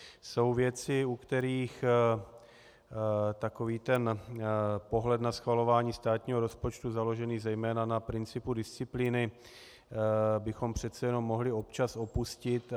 Jsou věci, u kterých takový ten pohled na schvalování státního rozpočtu založený zejména na principu disciplíny bychom přece jenom mohli občas opustit.